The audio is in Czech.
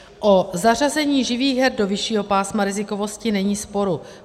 O zařazení živých her do vyššího pásma rizikovosti není sporu.